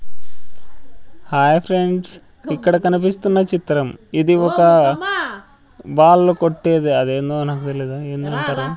Hi friends ఇక్కడ కనిపిస్తున్న చిత్రం ఇది ఒక బాల్లు కొట్టేది అదేందో నాకు తెలీదు ఏందో అంటారు.